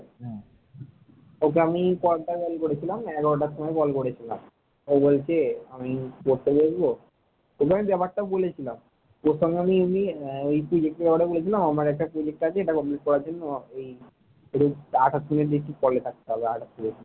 রোজ আঠাশ মিনিট নাকি কলে থাকতে হবে আঠাশ মিনিট।